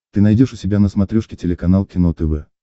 ты найдешь у себя на смотрешке телеканал кино тв